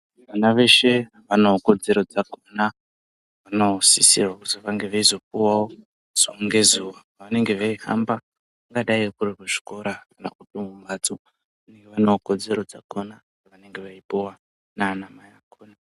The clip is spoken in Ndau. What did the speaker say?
Vana veshe vanekodzero dzakhona dzavanosizirwa kuti vange veizopuwawo zuva ngezuva pavanenge veihamba. Kungadai kuri kuzvikora kana kuti mumbatso, vanewo kodzero dzakhona dzavanenge veipuwa naanamai akhona.